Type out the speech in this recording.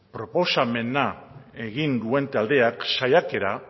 proposamena egin duen taldeak saiakera